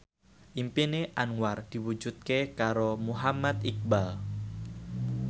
impine Anwar diwujudke karo Muhammad Iqbal